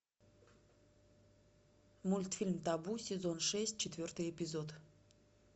мультфильм табу сезон шесть четвертый эпизод